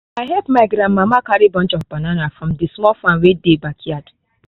i help my gran mama carry bunches of banana from the small farm wey dey backyard